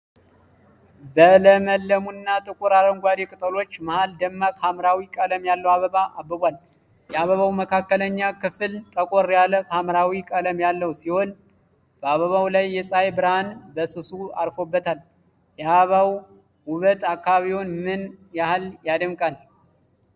በለመለሙና ጥቁር አረንጓዴ ቅጠሎች መሃል ደማቅ ሐምራዊ ቀለም ያለው አበባ አብቧል። የአበባው መካከለኛ ክፍል ጠቆር ያለ ሐምራዊ ቀለም ያለው ሲሆን፣ በአበባው ላይ የፀሐይ ብርሃን በስሱ አርፎበታል። የአበባው ውበት አካባቢውን ምን ያህል ያደምቃል?